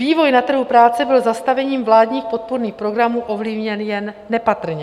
Vývoj na trhu práce byl zastavením vládních podpůrných programů ovlivněn jen nepatrně.